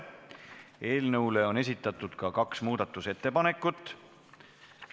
Eelnõu kohta on esitatud ka kaks muudatusettepanekut.